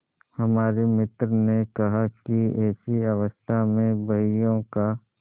हमारे मित्र ने कहा कि ऐसी अवस्था में बहियों का